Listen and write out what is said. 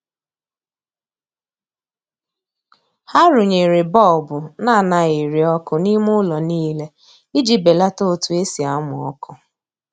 Ha runyere bọọbụ na anaghị eri ọkụ n'ime ụlọ niile iji belata otu esi amụ ọkụ.